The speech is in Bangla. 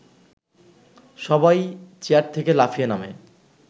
সবাই চেয়ার থেকে লাফিয়ে নামে